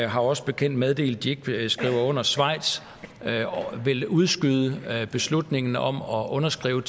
har os bekendt meddelt at de ikke vil skrive under schweiz vil udskyde beslutningen om at underskrive